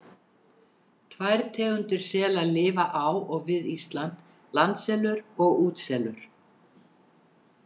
Tvær tegundir sela lifa á og við Ísland, landselur og útselur.